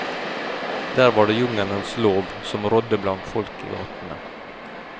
Der var det jungelens lov som rådde blant folk i gatene.